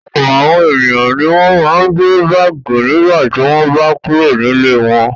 Ọ̀pọ̀ àwọn ènìyàn ni wọ́n máa ń gbé báágì nígbà tí wọ́n bá kúrò nílé wọn.